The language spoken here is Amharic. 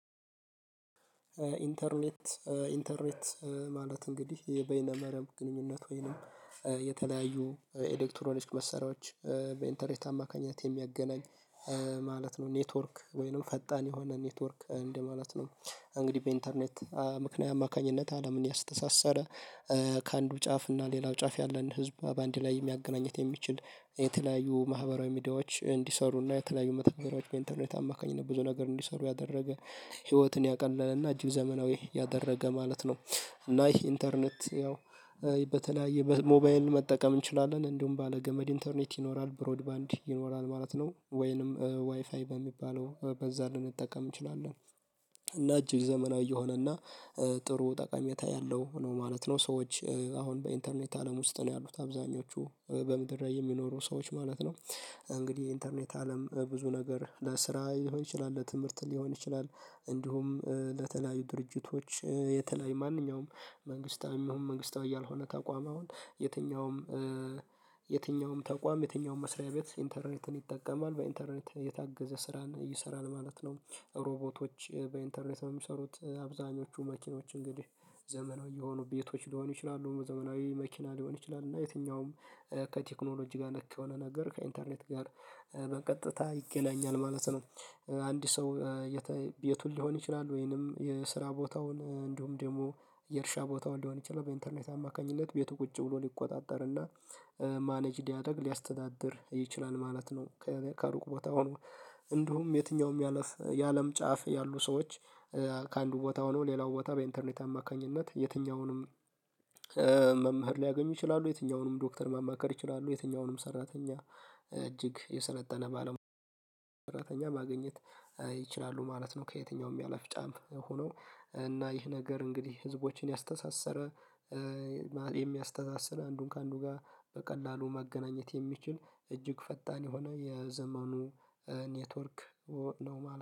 ኢንተርኔት ኢንተርኔት ማለት እንግዲህ የበይነ መረብ ግንኙነት ወይንም የተለያዩ ኤዴክትሮሎጂ መሰሪያዎች በኢንተርኔት አማካኝነት የሚያገናኝ ማለት ነው ኔትወርክ ወይንም ፈጣን የሆነ ኔትወርክ እንደ ማለት ነው። እንግዲህ በኢንተርኔት ምክንያት አማካኝነት አለምን ያስተሳሰረ ከአንዱ ጫፍ እና ሌላው ጫፍ ያለን ህዝብ በአንድ ላይ ማገናኘት የሚችል የተለያዩ ማህበራዊ ሚዲያዎች እንዲሰሩና የተለያዩ መተግበሪያዎች በኢንተርኔት አማካኝነት ብዙ ነገር እንዲሰሩ ያደረገ ህይወትን ያቀለለና እጅግ ዘመናዊ ያደረገ ማለት ነው። እና ይሄ ኢንተርኔት ያው በተለያየ ሞባይን መጠቀም እንችላለን እንደውም ባለ ገመድ ኢንተርኔት ይኖራል ብሮድባንድ ይኖራል ማለት ነው ወይንም ዋይፋይ በሚባለው በዛ ልንጠቀም እንችላለን። እና እጅግ ዘመናዊ የሆነና ጥሩ ጠቀሜታ ያለሁ ነው ማለት ነው። ሰዎች አሁን በኢንተርኔት አለም ውስጥ ነው ያሉት አብዛኞቹ በምድር ላይ የሚኖሩ ሰዎች ማለት ነው። እንግዲህ ኢንተርኔት አለም ብዙ ነገር ለስራ ሊሆን ይችላል ለትምህርት ሊሆን ይችላል። እንዲሁም ለተለያዩ ድርጅቶች የተለያዩ ማንኛውም መንግስታዊም ይሁን መንግስታዊ እያልሆነ ተቋም አሁን የትኛውም የትኛውም ተቋም የትኛውም መስሪያ ቤት ኢንተርኔትን ይጠቀማል በኢንተርኔት የታገዘ ስራን ይሰራል ማለት ነው። ሮቦቶች በኢንተርኔት የሚሰሩት አብዛኞቹ መኪኖች እንግዲህ ዘመናዊ የሆኑ ቤቶች ሊሆኑ ይችላሉ ዘመናዊ መኪና ሊሆን ይችላል እና የትኛውም ከቴክኖሎጂ ጋር ነክ የሆነ ነገር ከኢንተርኔት ጋር በቀጥታ ይገናኛል ማለት ነው። አንድ ሰው ቤቱን ሊሆን ይችላል ወይንም የስራ ቦታውን እንደውም ደግሞ የእርሻ ቦታው እንደሆን ይችላል በኢንተርኔት አማካኝነት ቤቱ ቁጭ ብሎ ሊቆጣጠርና ማኔጅ ሊያደርግ ሊያስተዳድር ይችላል ማለት ነው። ከሩቅ ቦታ ሆኖ እንዲሁም የትኛውም ያለፍ የአለም ጫፍ ያሉ ሰዎች ከአንዱ ቦታ ሆኖ ሌላው ቦታ በኢንተርኔት አማካኝነት የትኛውንም መምህር ሊያገኙ ይችላሉ የትኛውንም ዶክተር ማማከር ይችላሉ የትኛውንም ሰራተኛ እጅግ የሰለጠነ ባለሙያ ማግኘት ይችላሉ ማለት ነው። ከየትኛውም ያለፍ ጫም ሆነው እና ይህ ነገር እንግዲህ ህዝቦችን ያስተሳሰረ የሚያስተሳስር አንዱን ከአንዱ ጋር በቀላሉ ማገናኘት የሚችል እጅግ ፈጣን የሆነ የዘመኑ ኔትወርክ ነው ማለት